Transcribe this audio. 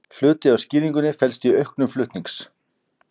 Hluti af skýringunni felst í auknum flutnings